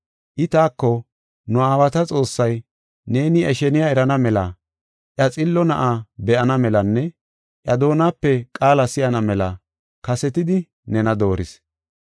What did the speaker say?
“I taako, ‘Nu aawata Xoossay neeni iya sheniya erana mela, iya xillo Na7aa be7ana melanne iya doonape qaala si7ana mela kasetidi nena dooris.